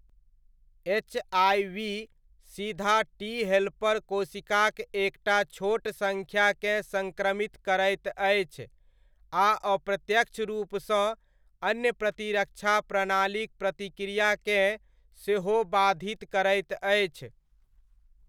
HIV सीधा T helper कोशिकाक एक टा छोट सङ्ख्याकेँ सङ्क्रमित करैत अछि, आ अप्रत्यक्ष रूपसँ अन्य प्रतिरक्षा प्रणालीक प्रतिक्रियाकेँ सेहो बाधित करैत अछि।